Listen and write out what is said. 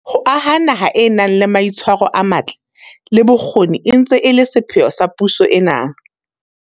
Ho aha naha e nang le mai tshwaro a matle, le bokgoni e ntse e le sepheo sa puso ena.